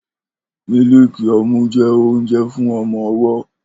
Mílììkì ọmú jẹ́ oúnjẹ fún ọmọ-ọwọ́